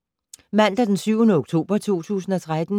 Mandag d. 7. oktober 2013